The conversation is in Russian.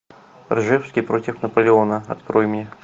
ржевский против наполеона открой мне